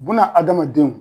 Buna adamadenw